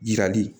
Jirali